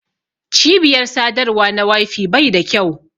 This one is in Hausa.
cibiyar sadarwa na wi-fi Bai da kyau.